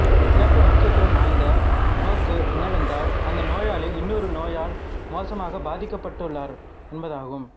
சிறப்பு முக்கியத்துவம் வாய்ந்த நோக்கு என்னவென்றால் அந்த நோயாளி இன்னொரு நோயால் மோசமாக பாதிக்கப்பட்டுள்ளாரா என்பதாகும்